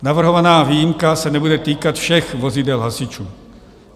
Navrhovaná výjimka se nebude týkat všech vozidel hasičů.